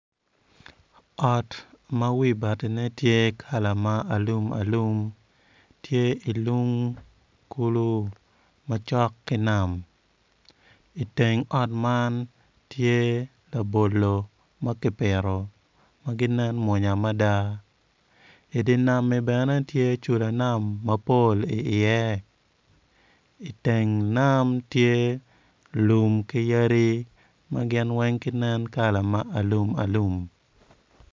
Ot ma wi batine tye kala ma alumalum tye I lung kulu ma cok ki nam iteng ot man tye labolo ma kipito ma gineno mwonya mada idi nami bene tye cula nam mapol iye iteng nam tye lum ki yadi ma gin weng ginen kala ma alumalum.